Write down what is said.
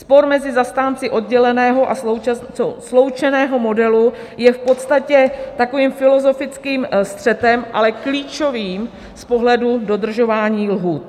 Spor mezi zastánci odděleného a sloučeného modelu je v podstatě takovým filozofickým střetem, ale klíčovým z pohledu dodržování lhůt.